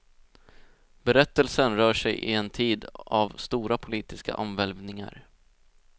Berättelsen rör sig i en tid av stora politiska omvälvningar.